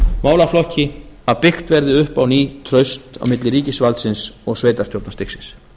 málaflokki að byggt verði upp á ný traust á milli ríkisvaldsins og sveitarstjórnarstigsins